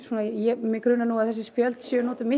mig grunar nú að þessi spjöld séu notuð miklu